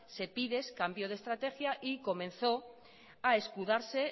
sepides cambió de estrategia y comenzó a escudarse